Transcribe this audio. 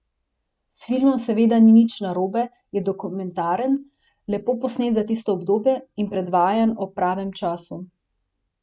S filmom seveda ni nič narobe, je dokumentaren, lepo posnet za tisto obdobje in predvajan ob pravem času.